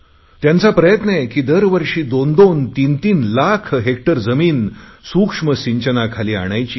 त्यांचा प्रयत्न आहे की दरवर्षी दोनदोन तीनतीन लाख हेक्टर जमिन सूक्ष्म सिंचनाखाली आणायची